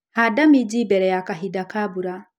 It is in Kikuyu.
Handa minji mbere ya kahinda ka mbura.